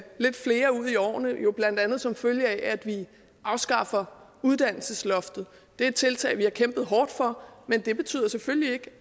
lidt flere ud i årene jo blandt andet som følge af at vi afskaffer uddannelsesloftet det er et tiltag vi har kæmpet hårdt for men det betyder selvfølgelig ikke